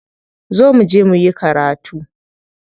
Zo muje muyi karatu.